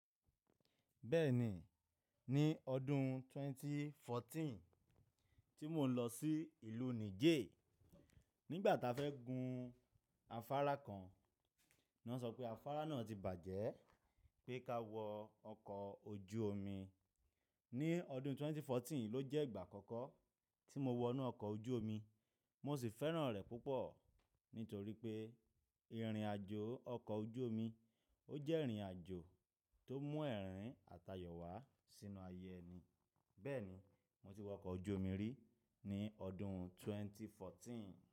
Bẹ́ẹ̀ni, ní ọdún ẹgbẹ̀rún méjì ó lé ẹ̀rinlá tí mò ń lọ sí ìlú Niger, nígbà tá fẹ́ gun afárá kan, wọ́n sọ pé afárá náà ti bàjẹ́ pé ká wọ ọkọ̀ ojú omi. Ní ọdún ẹgbẹ̀rún méjì ó lé ẹ̀rinlá ló jẹ́ ìgbà àkọ́kọ́ tí mo wọ inú ọkọ̀ ojú omi. Mo sì fẹ́ràn rẹ̀ púpọ̀ nítorí pé ìrìn àjò ọkọ̀ ojú omi ó jẹ́ ìrìn àjò tó mú ẹ̀rín àtayọ wá sínú ayé ẹni. Bẹ́ẹ̀ni, mo ti wọ ọkọ̀ ojú omi rí ní ọdún ẹgbẹ̀rún méjì ó lé ẹ̀rinlá.